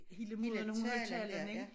Hele måden hun holdt talen ik